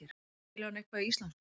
Skilur hann eitthvað í íslensku?